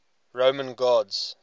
roman gods